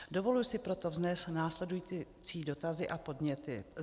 Dovoluji si proto vznést následující dotazy a podněty.